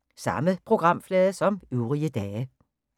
Samme programflade som øvrige dage